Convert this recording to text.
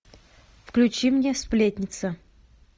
включи мне сплетница